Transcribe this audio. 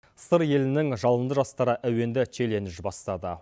сыр елінің жалынды жастары әуенді челлендж бастады